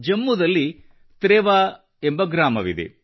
ಜಮ್ಮುದಲ್ಲಿ ತ್ರೆವಾ ಎಂಬ ಗ್ರಾಮವಿದೆ